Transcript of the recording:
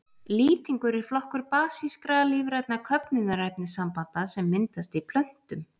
Lýtingur er flokkur basískra, lífrænna köfnunarefnissambanda sem myndast í plöntum.